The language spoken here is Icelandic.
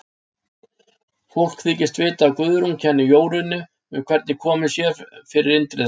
Fólk þykist vita að Guðrún kenni Jórunni um hvernig komið sé fyrir Indriða.